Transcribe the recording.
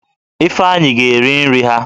Ifeanyi ga eri nri ha